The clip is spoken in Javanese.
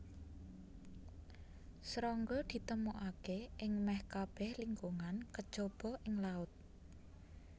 Srangga ditemokaké ing mèh kabèh lingkungan kejaba ing laut